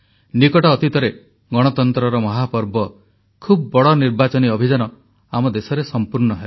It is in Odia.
ନିକଟ ଅତୀତରେ ଗଣତନ୍ତ୍ରର ମହାପର୍ବ ଖୁବ୍ ବଡ଼ ନିର୍ବାଚନୀ ଅଭିଯାନ ଆମ ଦେଶରେ ସମ୍ପୂର୍ଣ୍ଣ ହେଲା